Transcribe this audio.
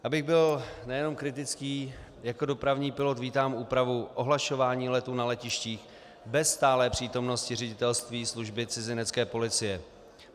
Abych byl nejenom kritický, jako dopravní pilot vítám úpravu ohlašování letů na letištích bez stálé přítomnosti ředitelství služby cizinecké policie.